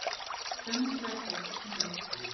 Sönnun Bergþórs er svona: